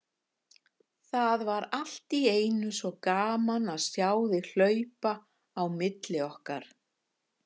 Það var allt í einu svo gaman að sjá þig hlaupa á milli okkar.